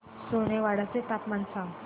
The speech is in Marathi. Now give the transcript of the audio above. सोनेवाडी चे तापमान सांग